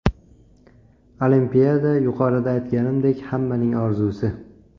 Olimpiada, yuqorida aytganimdek, hammaning orzusi.